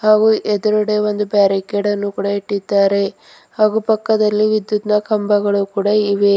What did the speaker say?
ಹಾಗೂ ಎದ್ರುಗಡೆ ಒಂದು ಬ್ಯಾರಿಕೆಡ್ ಕೂಡ ಇಟ್ಟಿದ್ದಾರೆ ಹಾಗು ಪಕ್ಕದಲ್ಲಿ ವಿದ್ಯುತ್ ನ ಕಂಬಗಳು ಕೂಡ ಇವೆ.